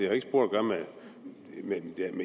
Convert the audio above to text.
har ikke spor at gøre med